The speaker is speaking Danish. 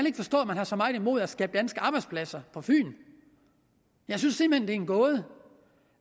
ikke forstå at man har så meget imod at skabe danske arbejdspladser på fyn jeg synes simpelt en gåde